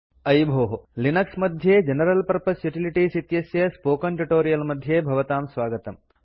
अयि भोः लिनक्स मध्ये जनरल पर्पज़ युटिलिटीज़ इत्यस्य स्पोकेन ट्यूटोरियल् मध्ये भवतां स्वागतम्